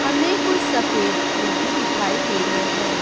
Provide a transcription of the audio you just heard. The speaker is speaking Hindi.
हमें कुछ सफेद फूल भी दिखाई दे रहे हैं।